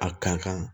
A ka kan